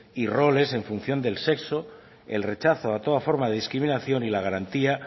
y roles en función del sexo el rechazo a toda forma de discriminación y la garantía